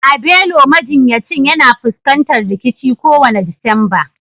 Abelo majinyacin yana fuskantar rikici kowane Disamba